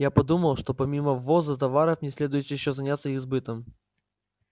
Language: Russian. я подумал что помимо ввоза товаров мне следует ещё заняться их сбытом